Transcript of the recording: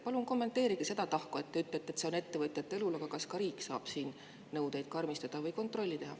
Palun kommenteerige seda tahku, et te ütlete, et see on ettevõtjate õlul, aga kas ka riik saab siin nõudeid karmistada või kontrolli teha.